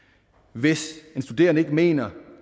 hvis en studerende ikke mener